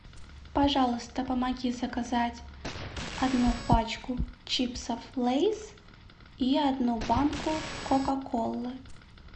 пожалуйста помоги заказать одну пачку чипсов лейс и одну банку кока колы